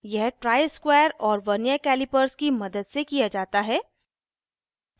यह ट्राइस्क्वायर और vernier calliper की मदद से किया जाता है